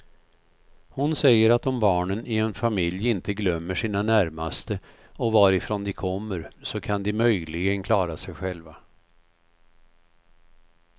Hon säger att om barnen i en familj inte glömmer sina närmaste och varifrån de kommer så kan de möjligen klara sig själva.